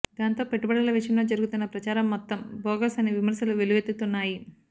దాంతో పెట్టుబడుల విషయంలో జరుగుతున్న ప్రచారం మొత్తం భోగస్ అని విమర్శలు వెల్లువెత్తుతున్నాయి